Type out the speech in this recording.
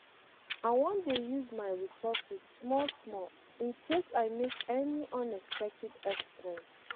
I wan dey use my resources small small in case I make any unexpected expense